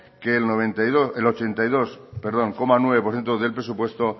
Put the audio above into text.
que el ochenta y dos coma nueve por ciento de los ingresos